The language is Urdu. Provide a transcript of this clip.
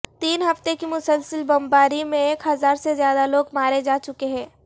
تین ہفتے کی مسلسل بمباری میں ایک ہزار سے زیادہ لوگ مارے جا چکے ہیں